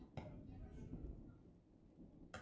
Hér er bara allt eins og það á að vera.